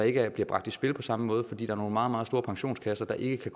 ikke bliver bragt i spil på samme måde fordi er meget meget store pensionskasser der ikke